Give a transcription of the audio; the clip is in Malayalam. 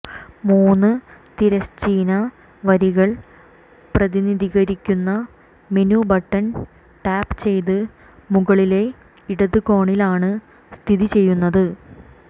മൂന്ന് തിരശ്ചീന വരികൾ പ്രതിനിധീകരിക്കുന്ന മെനു ബട്ടൺ ടാപ്പ് ചെയ്ത് മുകളിലെ ഇടത് കോണിലാണ് സ്ഥിതിചെയ്യുന്നത്